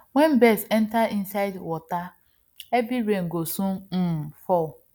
wen birds enter inside waterheavy rain go soon um fall